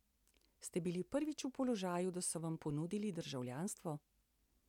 Ste bili prvič v položaju, da so vam ponudili državljanstvo?